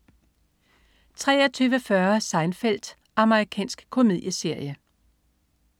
23.40 Seinfeld. Amerikansk komedieserie